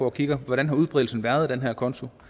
og kigger på hvordan udbredelsen af den her konto